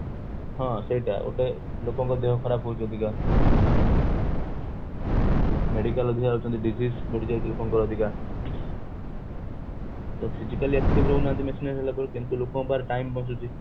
ହଁ ସେଇଟା ଗୋଟେ ଲୋକଙ୍କର ଦେହ ଖରାପ ହୋଉଛି ଅଧକ medical ଅଧିକ ଯାଉଛନ୍ତି ବଢିଯାଉଛି ଲୋକଙ୍କର ଅଧିକା ତ physically active ରହୁନାହାନ୍ତି machinery ହେଲା ପରେ କେମିତି ଲୋକଙ୍କ ପାଖରେ time ବଞ୍ଚୁଛି